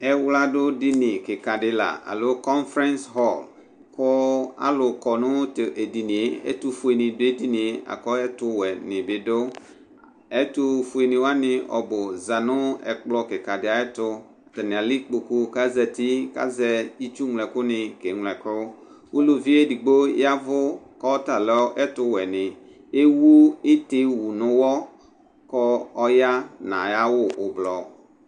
ɛwladu dini kika di la alo konfrins hɔs, alu kɔ nu t'edinie ɛtu fue ni du'edinie laku ɛtu wɛ ni bi du, ɛtu fue wʋani ɔbu zanu ɛkplɔ kika di ayɛtu, ata ni al'ikpoku k'azati, k'azɛ itsu ɣlo ɛku ni ke ɣlo ɛku, uluvi edigbo yavu k'ɔta lɛ ɛtu wɛ ni, ewu iti wu n'uwɔ k'ɔya anyi'awu ublɔ